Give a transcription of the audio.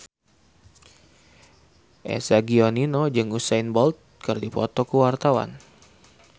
Eza Gionino jeung Usain Bolt keur dipoto ku wartawan